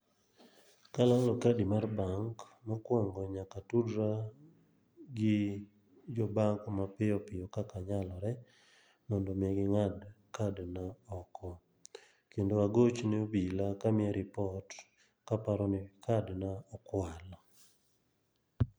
Kalalo kadi mar bank, mokwongo nyaka tudra gi jo bank mapiyo piyo kaka nyalore. Mondo mi ging'ad kadna oko. Kendo agocho ne obila kamiya ripot, kaparo ni kadna okwal.